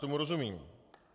Tomu rozumím.